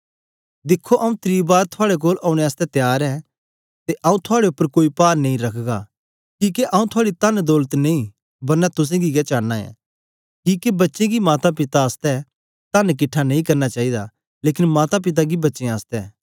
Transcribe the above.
दिखो आंऊँ त्री बार थुआड़े कोल औने आसतै त्यार ऐं ते आंऊँ थुआड़े उपर कोई पार नेई रखगा किके आंऊँ थुआड़ी तनदौलत नेई बरना तुसेंगी गै चांना ऐ किके बच्चें गी माता पिता आसतै तन किटठा नेई करना चाईदा लेकन माता पिता गी बच्चें आसतै